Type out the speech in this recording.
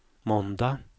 måndag